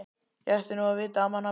Ég ætti nú að vita það manna best.